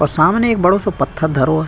और सामने इक बडो सो पत्थर धरो है।